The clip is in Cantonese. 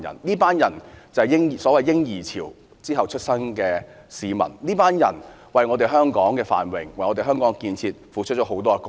這群人是所謂戰後"嬰兒潮"出生的，他們為香港的繁榮和建設，付出了很多貢獻。